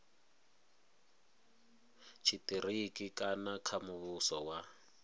tshitiriki kana kha muvhuso wa